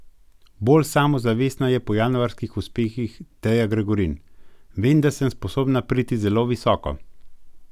Bolj samozavestna je po januarskih uspehih Teja Gregorin: 'Vem, da sem sposobna priti zelo visoko.